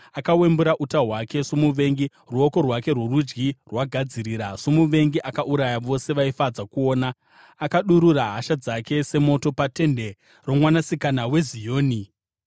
Akawembura uta hwake somuvengi; ruoko rwake rworudyi rwagadzirira. Somuvengi akauraya vose vaifadza kuona; akadurura hasha dzake semoto patende roMwanasikana weZioni.